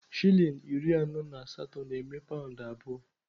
Shilling iri anọ na asatọ na-eme paụnd abụọ.